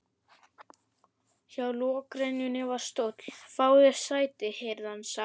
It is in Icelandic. Hjá lokrekkjunni var stóll: Fáðu þér sæti, heyrði hann sagt.